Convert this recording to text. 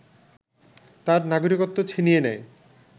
তাঁর নাগরিকত্ব ছিনিয়ে নেয়